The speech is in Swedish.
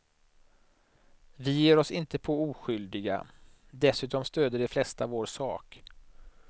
Vi ger oss inte på oskyldiga, dessutom stöder de flesta vår sak.